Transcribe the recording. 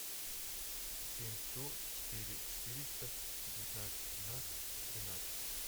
семь сто четыре четыреста девятнадцать тринадцать тринадцать